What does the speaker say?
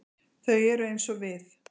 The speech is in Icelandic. Þau eru eins og við.